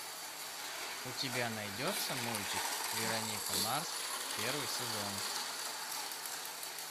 у тебя найдется мультик вероника марс первый сезон